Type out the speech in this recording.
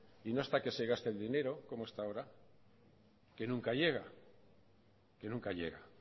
y no hasta que se gaste el dinero como hasta ahora que nunca llega que nunca llega